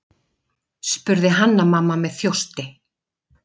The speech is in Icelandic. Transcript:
spurði Hanna-Mamma með þjósti.